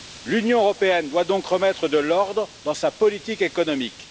L'Union européenne doit donc remettre de l'ordre dans sa politique économique.